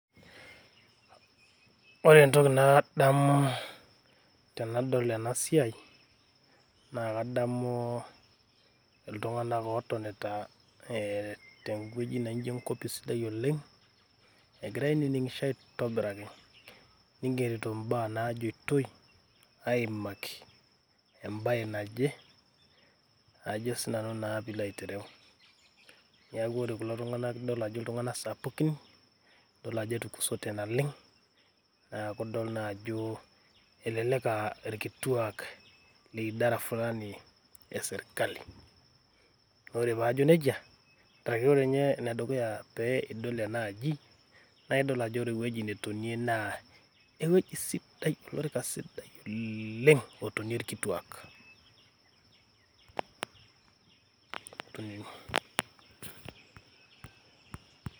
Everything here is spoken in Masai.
Ore entoki nadamu tenadol ena siai naa kadamu iltung`anak ootonita ee tewueji naijo enkopis sidai oleng. Egira ainining`isho aitobiraki, neigerito imbaa naajoitoi aimaki embae naje ajo naa sii nanu pee ilo aitereu. Niku ore kulo tung`anak idol ajo iltung`anak sapukin idol ajo etukusote naleng. Neeku idol naa ajo elelek aa ilkituak le idara fulani e sirkali. Naa ore paa ajo nejia arashu ore ninye ene dukaya pee idol enaaji naa idol ajo ore ewueji netonie naa ewueji sidai olorika sidai oleng otonie ilkituak.